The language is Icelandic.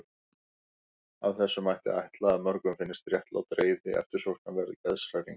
Af þessu mætti ætla að mörgum finnist réttlát reiði eftirsóknarverð geðshræring.